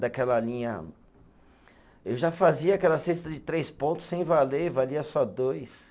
Daquela linha, eu já fazia aquela cesta de três pontos sem valer, valia só dois.